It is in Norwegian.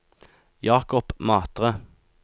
Jakob Matre